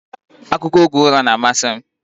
Akụkọ oge ụra na-amasị m